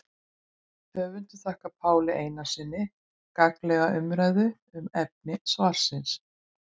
Höfundur þakkar Páli Einarssyni gagnlega umræðu um efni svarsins.